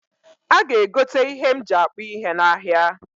A ga egote ihe m ji akpụ ihe n'ahịa